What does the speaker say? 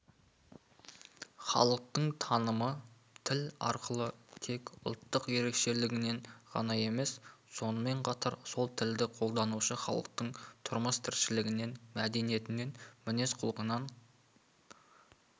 халықтың танымы тіл арқылы тек ұлттық ерекшелігінен ғана емес сонымен қатар сол тілді қолданушы халықтың тұрмыс-тіршілігінен мәдениетінен мінез-құлқынан